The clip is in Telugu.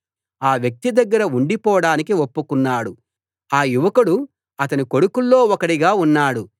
ఆ వ్యక్తి దగ్గర ఉండిపోడానికి ఒప్పుకున్నాడు ఆ యువకుడు అతని కొడుకుల్లో ఒకడిగా ఉన్నాడు